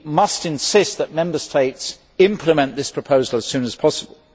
We must insist that Member States implement this proposal as soon as possible.